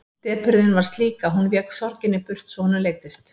Depurðin var slík að hún vék burt sorginni svo honum leiddist.